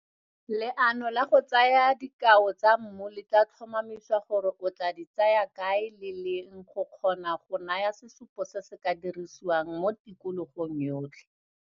Leano la go tsaya dikao tsa mmu le tla tlhomamisa gore o tla di tsaya kae le leng go kgona go naya sesupotse se se ka dirisiwang mo tikologong yotlhe.